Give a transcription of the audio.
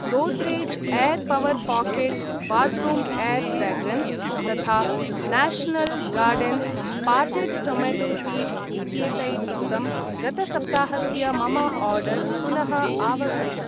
Godrej air power pocket bathroom air fragrance तथा national gardens potted tomato seeds इत्येतैर्युक्तं गतसप्ताहस्य मम आर्डर् पुनः आवर्तय।